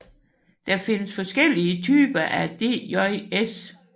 Der findes forskellige typer af DJs